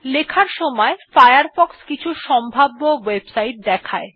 লেখার সময় ফায়ারফক্স কিছু সম্ভাব্য ওএবসাইট দেখায়